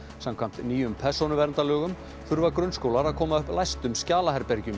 samkvæmt nýjum persónuverndarlögum þurfa grunnskólar að koma upp læstum